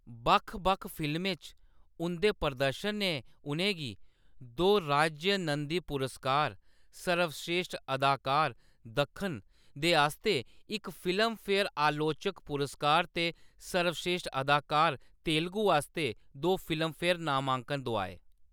बक्ख-बक्ख फिल्में च उंʼदे प्रदर्शन ने उʼनें गी दो राज्य नंदी पुरस्कार, सर्वश्रेश्ठ अदाकार-दक्खन दे आस्तै इक फिल्मफेयर अलोचक पुरस्कार ते सर्वश्रेश्ठ अदाकार-तेलुगू आस्तै दो फिल्मफेयर नामांकन दुआए।